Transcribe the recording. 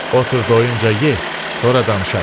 Otur doyuncaya ye, sonra danışarıq.